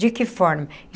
De que forma?